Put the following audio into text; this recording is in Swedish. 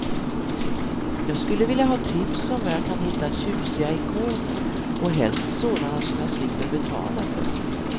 Jag skulle vilja ha tips om var jag kan hitta tjusiga ikoner och helst sådana som jag slipper betala för.